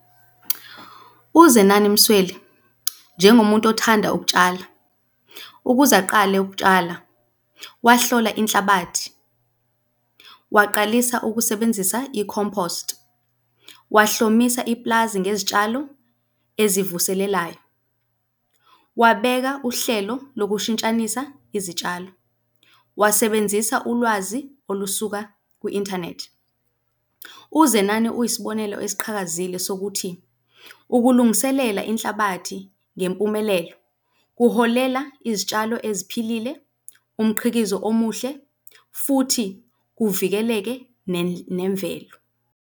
UZenani Msweli, njengomuntu othanda ukutshala, ukuze aqale ukutshala, wahlolwa inhlabathi, waqalisa ukusebenzisa i-compost, wahlomisa ipulazi ngezitshalo ezivuselelayo, wabeka uhlelo lokushintshanisa izitshalo, wasebenzisa ulwazi olusuka kwi-inthanethi. UZenani uyisibonelo esiqhakazile sokuthi ukulungiselela inhlabathi ngempumelelo kuholela izitshalo eziphilile, umqhikizo omuhle futhi kuvikeleke nemvelo.